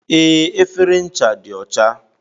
Ee, efere ncha dị ọcha